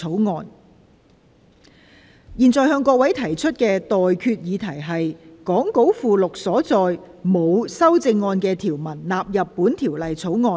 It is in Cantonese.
我現在向各位提出的待決議題是：講稿附錄所載沒有修正案的條文納入本條例草案。